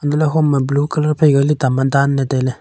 untohley hom e blue colour phaika tuta ma danley tailey.